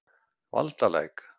Valdalæk